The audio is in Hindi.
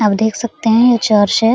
आप देख सकते है यह चर्च है।